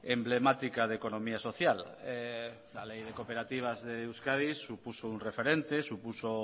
emblemática de economía social la ley de cooperativas de euskadi supuso un referente supuso